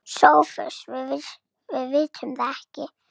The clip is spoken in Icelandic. SOPHUS: Við vitum það ekki.